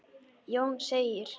Jón segir: